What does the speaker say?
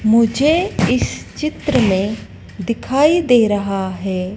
मुझे इस चित्र में दिखाई दे रहा है।